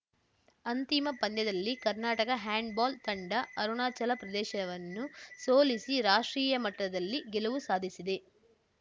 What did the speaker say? ಅಂತಿಮ ಪಂದ್ಯದಲ್ಲಿ ಕರ್ನಾಟಕ ಹ್ಯಾಂಡ್‌ಬಾಲ್‌ ತಂಡ ಅರುಣಾಚಲ ಪ್ರದೇಶವನ್ನು ಸೋಲಿಸಿ ರಾಷ್ಟ್ರೀಯ ಮಟ್ಟದಲ್ಲಿ ಗೆಲುವು ಸಾಧಿಸಿದೆ